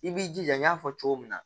I b'i jija n y'a fɔ cogo min na